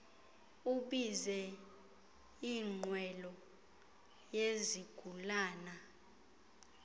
ubize inqwelo yezigulana